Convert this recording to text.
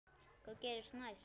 Hvað gerist næst?